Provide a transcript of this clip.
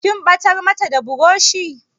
Kin ɓatar mata da burushi?